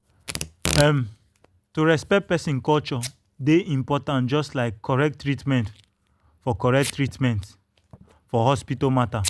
um to respect person culture dey important just like correct treatment for correct treatment for hospital matter.